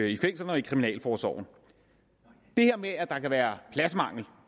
i fængslerne og i kriminalforsorgen det her med at der er pladsmangel